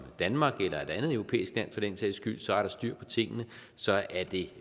danmark eller et andet europæisk land for den sags skyld så er der styr på tingene så er det